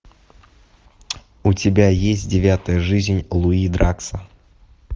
у тебя есть девятая жизнь луи дракса